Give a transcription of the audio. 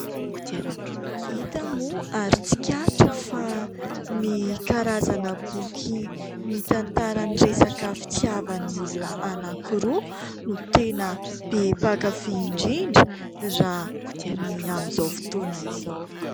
Hita moa ary tsikaritra fa ny karazana boky mitantara ny resaka fitiavan'ny olona anankiroa no tena be mpakafy indrindra raha ny amin'izao fotoana izao.